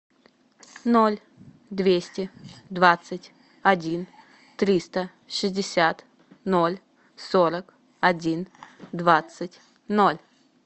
ноль двести двадцать один триста шестьдесят ноль сорок один двадцать ноль